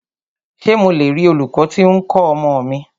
Ṣé mo le rí olūkọ́ tí o ń kọ́ ọmọ mi?